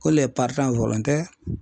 Ko lɛ paritan wɔlontɛri